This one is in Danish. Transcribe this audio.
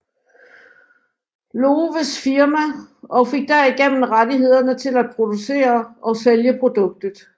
Lowes firma og fik derigennem rettighederne til at producere og sælge produktet